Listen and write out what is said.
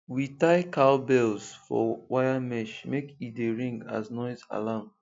we tie cow bells for wire mesh make e dea ring as noise alarm